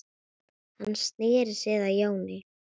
Hann sneri sér að Jóni.